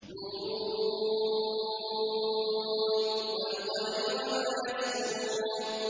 ن ۚ وَالْقَلَمِ وَمَا يَسْطُرُونَ